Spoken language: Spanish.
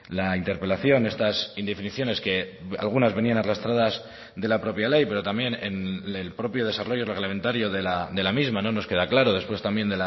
la interpelación estas indefiniciones que algunas venían arrastradas de la propia ley pero también en el propio desarrollo reglamentario de la misma no nos queda claro después también